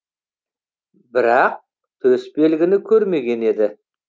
бірақ төс белгіні көрмеген еді